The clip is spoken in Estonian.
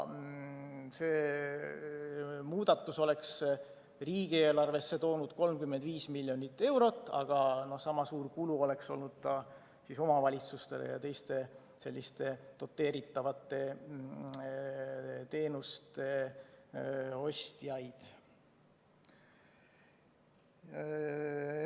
See muudatus oleks riigieelarvesse toonud 35 miljonit eurot, aga sama suur kulu oleks olnud ka omavalitsustel ja teistel selliste doteeritavate teenuste ostjatel.